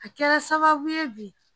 A kɛra sababu ye bi